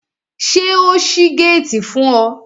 Ṣé o ṣí géètì fún ọ?